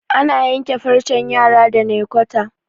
ana yanke farcen yara da naykwata